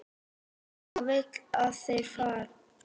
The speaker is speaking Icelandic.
Ég vil að þér farið.